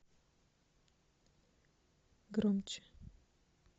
громче